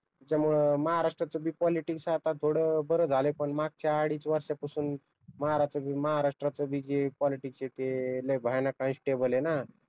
त्याच्यामुळं महाराष्ट्र च बी पॉलिटिक्स आता थोडं बर झालय पण मागच्या अडीच वर्षांपासून महाराष्टाच बी जे पोलिटिकस आहे ते लई भयानक अनस्टेबल आहे ना.